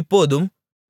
இப்போதும்